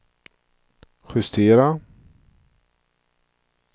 justera